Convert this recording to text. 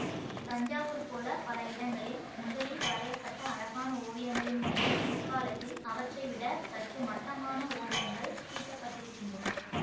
தஞ்சாவூர்போல பல இடங்களில் முதலில் வரைய பட்ட அழகான ஓவியங்களின் மீது பிற்காலத்தில் அவற்றைவிடச் சற்று மட்டமான ஓவியங்கள் தீட்டப்ப்பட்டிருக்கின்றன